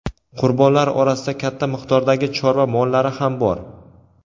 Qurbonlar orasida katta miqdordagi chorva mollari ham bor.